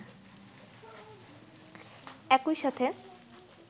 একই সাথে